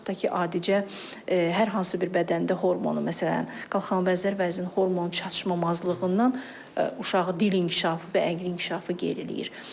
Və yaxud da ki, adicə hər hansı bir bədəndə hormonun, məsələn, qalxanabənzər vəzin hormon çatışmamazlığından uşağı dil inkişafı və əqli inkişafı geriləyir.